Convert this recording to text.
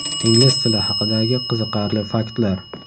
Ingliz tili haqidagi qiziqarli faktlar.